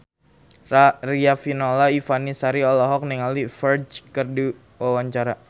Riafinola Ifani Sari olohok ningali Ferdge keur diwawancara